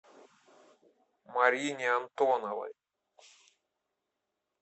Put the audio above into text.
марине антоновой